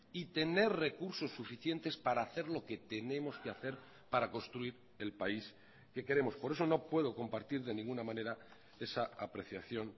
y tener recursos suficientes para hacer lo que tenemos que hacer para construir el país que queremos por eso no puedo compartir de ninguna manera esa apreciación